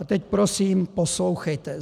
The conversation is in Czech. - A teď prosím poslouchejte: